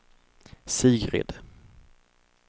Sigrid